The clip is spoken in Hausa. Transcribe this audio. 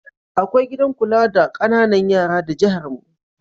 Akwai gidan kula da ƙananan yara da jiharmu.